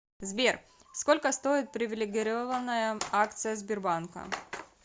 сбер сколько стоит привилегированная акция сбербанка